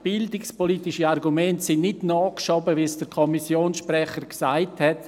Bildungspolitische Argumente sind nicht nachgeschoben, wie es der Kommissionssprecher gesagt hat.